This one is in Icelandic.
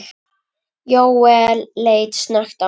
Jóel leit snöggt á hann.